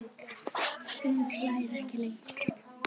Hún hlær ekki lengur.